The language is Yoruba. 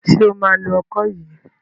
Ṣo máa lo ọkọ yìí?